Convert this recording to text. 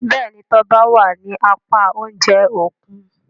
Béèni Toba wá ní apá oúnjẹ Òkun.